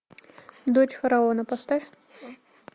дочь фараона поставь